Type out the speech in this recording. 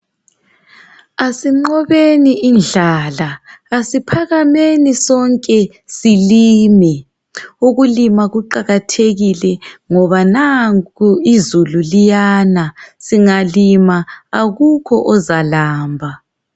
Asinqobeni indlala, asiphakameni sonke silime. Ukulima kuqakathekile ngoba nanku izulu liyana, singalima akukho ozalamba.